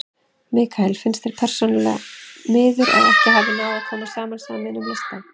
Mikael: En finnst þér persónulega miður að ekki hafi náð að koma saman sameiginlegum lista?